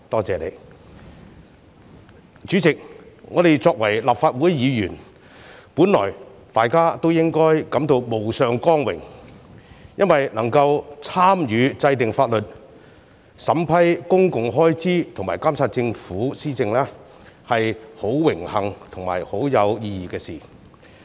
主席，我們身為立法會議員，本來應該感到無上光榮，因為能夠參與制定法律、審批公共開支和監察政府施政，是十分榮幸和有意義的事情。